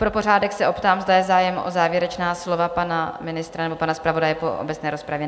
Pro pořádek se optám, zda je zájem o závěrečná slova pana ministra nebo pana zpravodaje po obecné rozpravě?